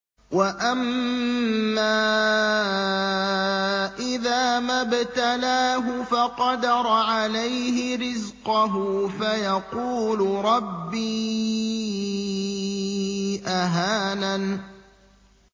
وَأَمَّا إِذَا مَا ابْتَلَاهُ فَقَدَرَ عَلَيْهِ رِزْقَهُ فَيَقُولُ رَبِّي أَهَانَنِ